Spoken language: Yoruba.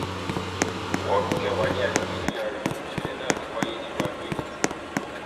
wọọlù kẹwà ní agbègbè gra níṣẹlẹ náà ti wáyé nílùú adoekìtì